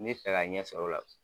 Me fɛ ka ɲɛsɔrɔ o la.